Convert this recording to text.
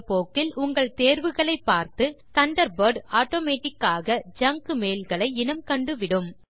காலப்போக்கில் உங்கள் தேர்வுகளை பார்த்து தண்டர்பர்ட் ஆட்டோமேட்டிக் ஆக ஜங்க் மெயில் ஐ இனம் கண்டுவிடும்